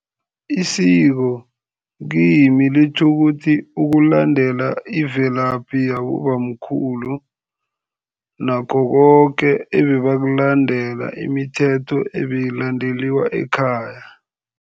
Isiko kimi litjho ukuthi ukulandela ivelaphi yabobamkhulu nakho koke ebebakulandela, imithetho ebeyilandeliwa ekhaya.